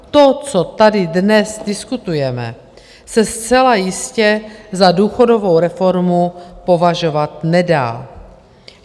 To, co tady dnes diskutujeme, se zcela jistě za důchodovou reformu považovat nedá.